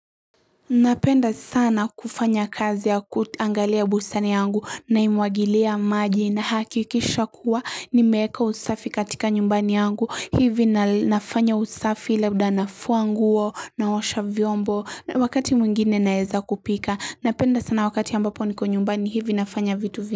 Napenda sana kufanya kazi ya kuangalia bustani yangu naimwgilia maji nahakikisha kuwa nimeeka usafi katika nyumbani yangu hivi na nafanya usafi labda nafua nguo naosha vyombo wakati mwingine naeza kupika napenda sana wakati ambapo niko nyumbani hivi nafanya vitu vini.